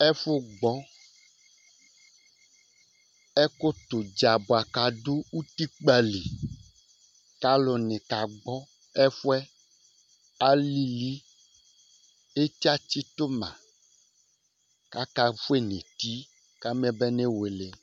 Ɛfʋ gbɔ ɛkʋ tɛ ʋdza bʋakʋ adu ʋtikpa li kʋ alu ni ka gbɔ ɛfʋɛ, alìlí kʋ eti atsitu ma kʋ aka fʋe nʋ eti kama bane wele